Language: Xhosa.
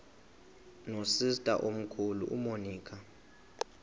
nosister omkhulu umonica